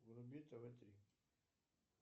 вруби тв три